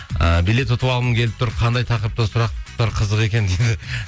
ы билет ұтып алғым келіп тұр қандай тақырыпта сұрақтар қызық екен дейді